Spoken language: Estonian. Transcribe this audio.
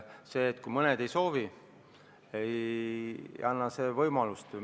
See, kui mõned ei soovi, ei anna võimalust seda muuta.